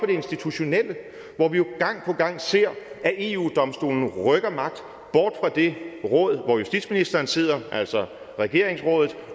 institutionelle hvor vi jo gang på gang ser at eu domstolen rykker magt bort fra det råd hvor justitsministeren sidder altså regeringsrådet